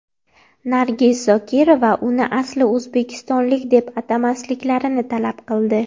Nargiz Zokirova uni asli o‘zbekistonlik deb atamasliklarini talab qildi.